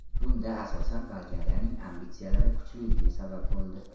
Bunda, asosan, Bolgariyaning ambitsiyalari kuchliligi sabab bo‘ldi.